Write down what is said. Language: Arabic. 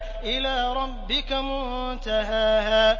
إِلَىٰ رَبِّكَ مُنتَهَاهَا